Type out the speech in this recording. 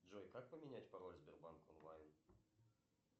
джой как поменять пароль в сбербанк онлайн